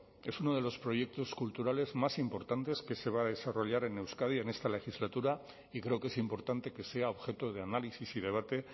es uno de los proyectos culturales más importantes que se va a desarrollar en euskadi en esta legislatura y creo que es importante que sea objeto de análisis y debate